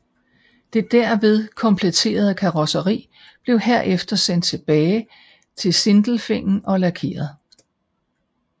Det derved kompletterede karrosseri blev herefter sendt tilbage til Sindelfingen og lakeret